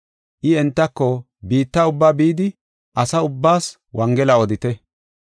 I entako, “Biitta ubbaa bidi asa ubbaas wongela odite.